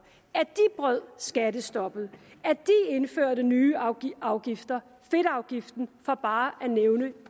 at de brød skattestoppet at de indførte nye afgifter fedtafgiften for bare at nævne